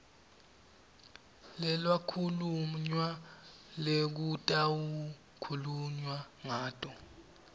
lekwakhulunywa lekutawukhulunywa ngato